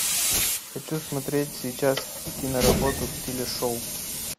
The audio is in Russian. хочу смотреть сейчас киноработу в стиле шоу